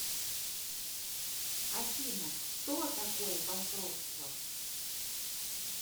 афина кто такое банкротство